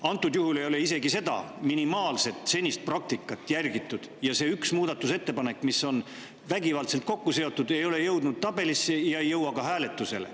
Antud juhul ei ole isegi seda minimaalset senist praktikat järgitud ja see üks muudatusettepanek, mis on vägivaldselt kokku seotud, ei ole jõudnud tabelisse ja ei jõua ka hääletusele.